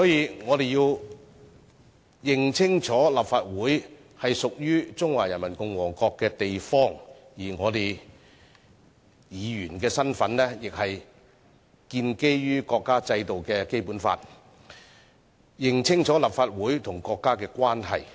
因此，我們要認清楚立法會是屬於中華人民共和國的地方，而議員的身份亦建基於國家制定的《基本法》。